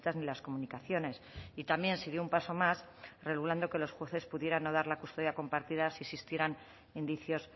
ni las comunicaciones y también se dio un paso más regulando que los jueces pudieran no dar la custodia compartida si existieran indicios